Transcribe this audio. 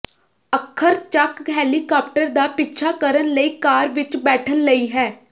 ਅੱਖਰ ਚੱਕ ਹੈਲੀਕਾਪਟਰ ਦਾ ਪਿੱਛਾ ਕਰਨ ਲਈ ਕਾਰ ਵਿੱਚ ਬੈਠਣ ਲਈ ਹੈ